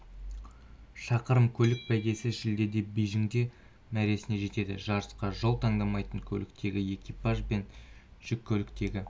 шақырым көлік бәйгесі шілдеде бейжіңде мәресіне жетеді жарысқа жол талғамайтын көліктегі экипаж бен жүк көліктегі